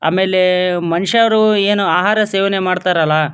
ಆಮೇಲೆ ಮನುಷ್ಯರು ಏನು ಆಹಾರ ಸೇವನೆ ಮಾಡ್ತಾರಲ್ಲ --